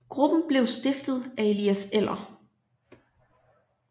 Gruppen blev stiftet af Elias Eller